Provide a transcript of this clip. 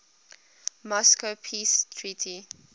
moscow peace treaty